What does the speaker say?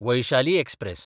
Vaishali express